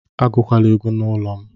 Agụkwala egwu n'ụlọ m